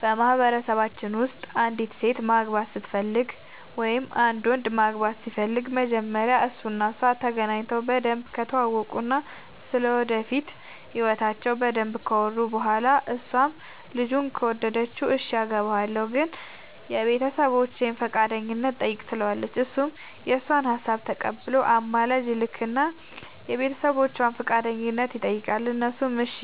በማህበረሰባችን ውስጥ አንዲት ሴት ማግባት ስትፈልግ ወይም አንድ ወንድ ማግባት ሲፈልግ መጀመሪያ እሱ እና እሷ ተገናኝተው በደንብ ከተዋወቁ እና ስለ ወደፊት ህይወታቸው በደንብ ካወሩ በኋላ እሷም ልጁን ከወደደችው እሽ አገባሀለሁ ግን የቤተሰቦቼን ፈቃደኝነት ጠይቅ ትለዋለች እሱም የእሷን ሀሳብ ተቀብሎ አማላጅ ይልክ እና የቤተሰቦቿን ፈቃደኝነት ይጠይቃል እነሱም እሺ